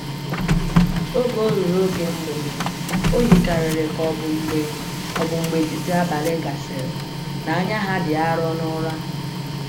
Oge ruru oge mgbede, o yikarịrị ka ọ bụ mgbe ọ bụ mgbe etiti abalị gasịrị, na “anya ha dị arọ” n’ụra.